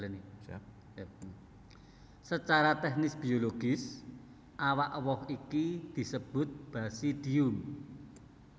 Sacara tèknis biologis awak woh iki disebut basidium